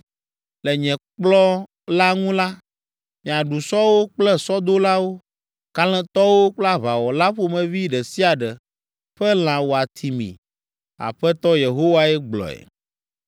Le nye kplɔ̃ la ŋu la, miaɖu sɔwo kple sɔdolawo, kalẽtɔwo kple aʋawɔla ƒomevi ɖe sia ɖe ƒe lã wòati mi’ Aƒetɔ Yehowae gblɔe.